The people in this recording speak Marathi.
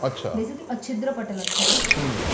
बेसिकली अच्छिद्र पटल असतं ते.